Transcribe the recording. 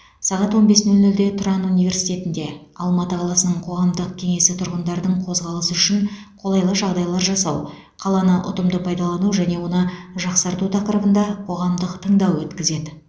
сағат он бес нөл нөлде тұран университетінде алматы қаласының қоғамдық кеңесі тұрғындардың қозғалысы үшін қолайлы жағдайлар жасау қаланы ұтымды пайдалану және оны жақсарту тақырыбында қоғамдық тыңдау өткізеді